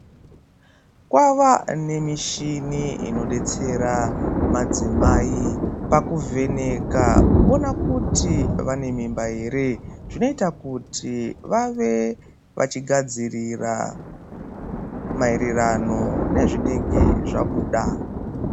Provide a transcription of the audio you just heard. Kwava nemishini inodetsera madzimai pakuvheneka kuona kuti vanemimba here. Zvinoita kuti vave vachigadzirira maererano nezvinenge zvabuda.